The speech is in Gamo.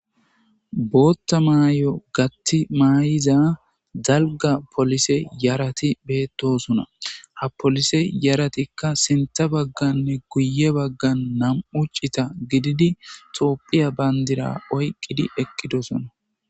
bootha maay7o gathi maay7iza dalga polise yarati beettosona ha polise yaratikka sinththa bagganne guye baggan nam7u cita gididi toopphiya bandira oyqqidi eqqidosona